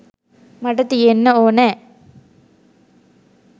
මට තියෙන්න ඕනෑ.